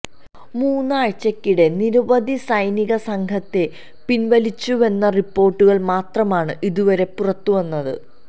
മൂന്നാഴ്ച്കക്കിടെ നിരവധി സൈനിക സംഘത്തെ പിന്വലിച്ചുവെന്ന റിപ്പോര്ട്ടുകള് മാത്രമാണ് ഇതുവരെ പുറത്ത് വന്നത്